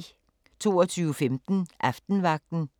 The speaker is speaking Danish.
22:15: Aftenvagten